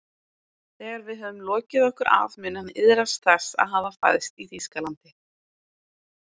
Þegar við höfum lokið okkur af mun hann iðrast þess að hafa fæðst í Þýskalandi